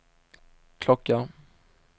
klocka